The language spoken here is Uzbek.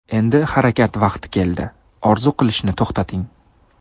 Endi harakat vaqti keldi, orzu qilishni to‘xtating!